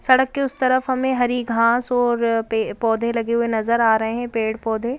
सड़क के उस तरफ हमें हरी घास और पौधे लगे हुए नजर आ रहे हैं पेड़-पौधे --